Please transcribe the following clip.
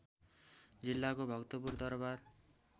जिल्लाको भक्तपुर दरबार